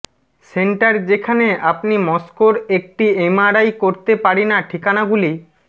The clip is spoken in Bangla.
সেন্টার যেখানে আপনি মস্কোর একটি এমআরআই করতে পারি না ঠিকানাগুলি